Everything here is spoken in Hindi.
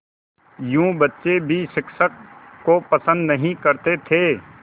यूँ बच्चे भी शिक्षक को पसंद नहीं करते थे